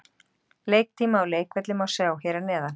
Leiktíma og leikvelli má sjá hér að neðan.